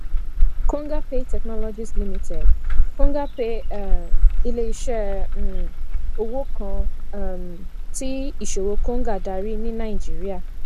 kongapay technologies limited kongapay um ilé iṣẹ um owó kan um tí iṣòwò konga darí ní naijiría